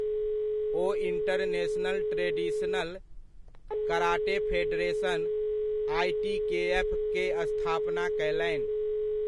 ओ international traditional karate federation, आइटीकेएफ'क स्थापना कयलनि।